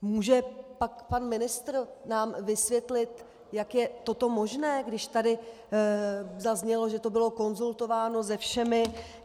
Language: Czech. Může pak pan ministr nám vysvětlit, jak je toto možné, když tady zaznělo, že to bylo konzultováno se všemi?